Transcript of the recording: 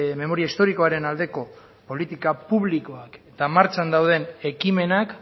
memoria historikoaren aldeko politika publikoak eta martxan dauden ekimenak